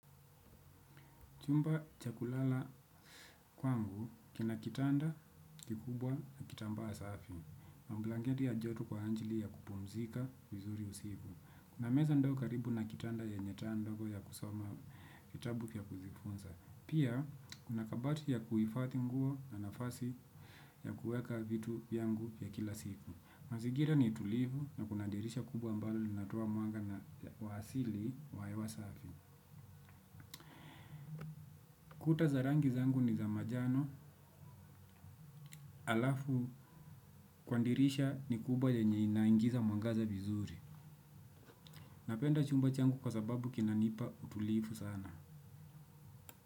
Chumba chakulala kwangu kina kitanda kikubwa na kitambaa safi. Mamblanketi ya joto kwa ajili ya kupumzika vizuri usiku. Kuna meza ndogo karibu na kitanda yenye taa ndogo ya kusoma kitabu vya kujifunza. Pia, kuna kabati ya kuifathi nguo na nafasi ya kuweka vitu vyangu vya kila siku. Mazigira ni tulivu na kuna dirisha kubwa ambalo linatoa muanga na wa asili wa hewa safi. Kuta za rangi zangu ni za majano alafu kwa ndirisha ni kubwa yenye inaingiza mwangaza vizuri. Napenda chumba changu kwa sababu kinanipa utulifu sana.